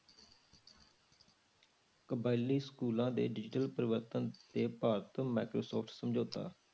ਕਬਾਇਲੀ schools ਦੇ digital ਪ੍ਰਵਰਤਨ ਤੇ ਭਾਰਤ microsoft ਸਮਝੋਤਾ